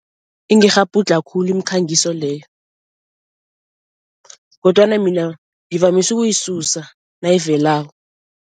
Ingikghabhudlha khulu imikhangiso leyo kodwana mina ngivamise ukuyisusa nayivelako.